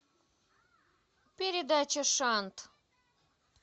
передача шант